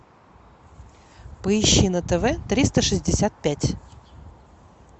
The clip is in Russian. поищи на тв триста шестьдесят пять